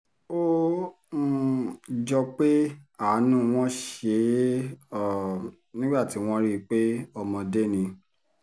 ó um jọ pé àánú wọn ṣe é um nígbà tí wọ́n rí i pé ọmọdé ni